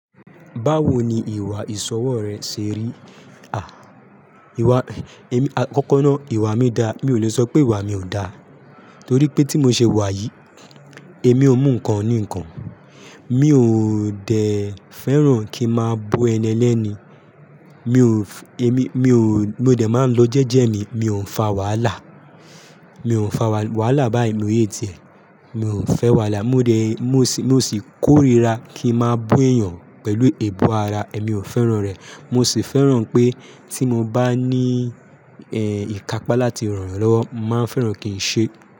Báwo ni ìwà ìsọwọ́ rẹ ṣe rí? À, ìwà, ẹ́mi, àkọ́kọ́ náà ìwà mi da, mi ò lè sọ pé ìwà mi ò da, torí pé tí mo ṣe wà yìí, èmi ò mú nǹkan ní nǹkan. Mi ò dè fẹ́ràn kí ń máa bú ẹni elẹ́ni, mi ò f-- èmi, mi ò, mò dè máa ń lọ jẹ́jẹ́ mi, mi ò ń fa wàhálà, mi ò ń fa wàhálà bái mo hate e, mi ò fẹ́ wàhálà, mo dè, mo sì kórira kí ń máa bú èèyàn pẹ̀lú eebu ara, èmi ò fẹ́ràn rẹ̀. Mo sì fẹ́ràn pé tí mo bá ní, ẹ́, ìkápá láti ràn'yán lọ́wọ́, mo màá n fẹ́ràn kí n ṣe.